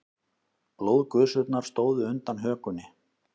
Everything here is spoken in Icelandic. Blóðgusurnar stóðu undan hökunni.